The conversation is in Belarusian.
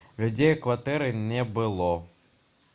людзей у кватэры не было